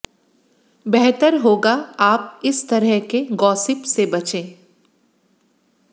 बेहतर होगा आप इस तरह के गॉसिप में बचें